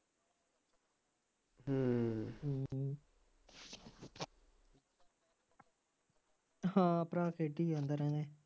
ਹਾਂ ਭਰਾ ਖੇਡੀ ਜਾਂਦਾ ਰਹਿੰਦਾ